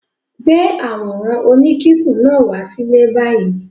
Gbé àwòrán oníkíkùn náà wá sílé báyìí!